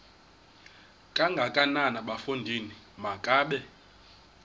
kangakanana bafondini makabe